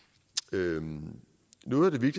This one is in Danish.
vide noget mere